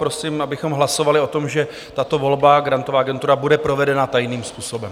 Prosím, abychom hlasovali o tom, že tato volba, Grantová agentura, bude provedena tajným způsobem.